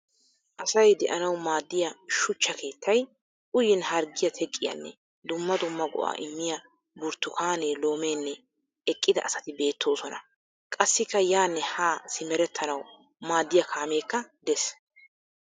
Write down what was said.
Asay de'anawu maaddiya shuchcha keettay, uyin harggiya teqqiyanne dumma dumma go'aa immiya burttukaane loomenne eqqida asati beettoosona. Qassikka yaanne haa simerettanawu maaddiya kaameekka des.